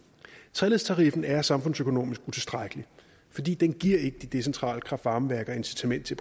treledstariffen er samfundsøkonomisk utilstrækkelig fordi den ikke giver de decentrale kraft varme værker incitament til